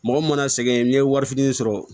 Mɔgɔ mana sɛgɛn n'i ye wari fitinin sɔrɔ